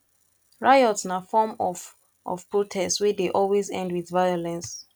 riots na form of of protest wey de always end with violence